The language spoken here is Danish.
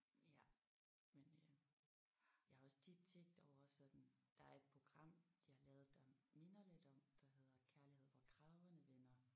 Ja men øh jeg har også tit tænkt over sådan der er et program de har lavet der minder lidt om der hedder Kærlighed hvor kragerne vender